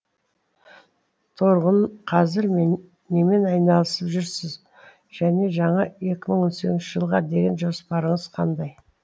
торғын қазір немен айналысып жүрсіз және жаңа екі мың он сегізінші жылға деген жоспарыңыз қандай